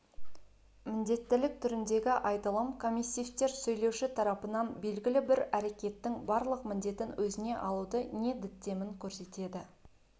міндеттілік түріндегі айтылым комиссивтер сөйлеуші тарапынан белгілі бір әрекеттің барлық міндеттін өзіне алуды не діттемін көрсетеді